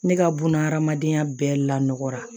Ne ka buna hadamadenya bɛɛ lanɔgɔra